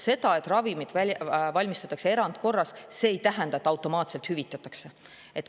See, et ravimit valmistatakse erandkorras, ei tähenda, et see automaatselt hüvitatakse.